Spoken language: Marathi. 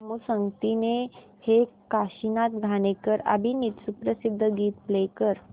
गोमू संगतीने हे काशीनाथ घाणेकर अभिनीत सुप्रसिद्ध गीत प्ले कर